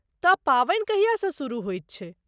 तऽ पावनि कहियासँ शुरू होयत छै?